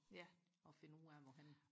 ja og finde ud af hvorhenne